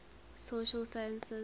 social sciences